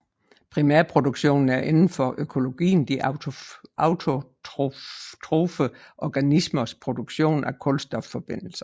Primærproduktionen er inden for økologien de autotrofe organismers produktion af kulstofforbindelser